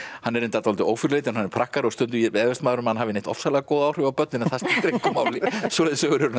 hann er reyndar dálítið ófyrirleitinn hann er prakkari og stundum efast maður um að hann hafi ofsalega góð áhrif á börn en það skiptir engu máli svoleiðis sögur